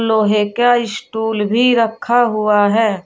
लोहे का स्टूल भी रखा हुआ है।